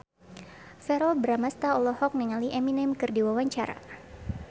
Verrell Bramastra olohok ningali Eminem keur diwawancara